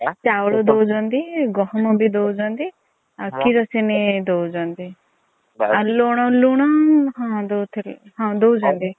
ଚାଉଳ ଦୌଛନ୍ତି ଗହମ୍ ବି ଦୌଛନ୍ତି ଆଉ କିରୋସିନି ଦୌଛନ୍ତି। ଆଉ ଲୁଣ ଲୁଣ ହଁ ଦୌଥିଲେ ହଁ ଦୌଛନ୍ତି।